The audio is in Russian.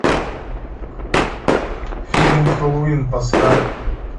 фильм хэллоуин поставь